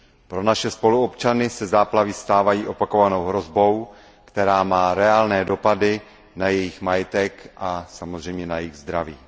Pro naše spoluobčany se záplavy stávají opakovanou hrozbou, která má reálné dopady na jejich majetek a samozřejmě na jejich zdraví.